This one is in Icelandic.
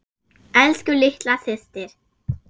Elsku litla systir.